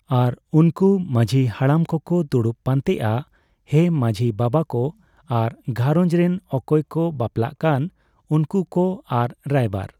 ᱟᱨ ᱩᱱᱠᱩ ᱢᱟᱺᱡᱷᱤ ᱦᱟᱲᱟᱢ ᱠᱚ ᱠᱚ ᱫᱩᱲᱩᱵ ᱯᱟᱱᱛᱮᱜᱼᱟ ᱾ᱦᱮᱸ ᱢᱟᱺᱡᱷᱤ ᱵᱟᱵᱟ ᱠᱚ ᱟᱨ ᱜᱷᱟᱸᱨᱚᱡᱽ ᱨᱮᱱ ᱚᱠᱚᱭ ᱠᱚ ᱵᱟᱯᱞᱟᱜ ᱠᱟᱱ ᱩᱱᱠᱩ ᱠᱚ ᱟᱨ ᱨᱟᱭᱵᱟᱨ ᱾